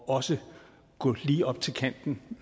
også at gå lige til kanten